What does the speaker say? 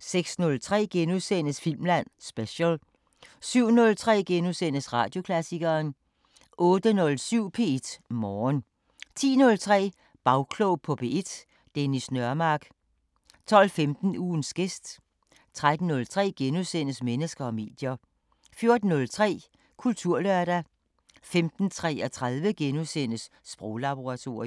06:03: Filmland Special * 07:03: Radioklassikeren * 08:07: P1 Morgen 10:03: Bagklog på P1: Dennis Nørmark 12:15: Ugens gæst 13:03: Mennesker og medier * 14:03: Kulturlørdag 15:33: Sproglaboratoriet *